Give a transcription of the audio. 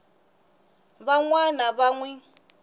van wana va n wi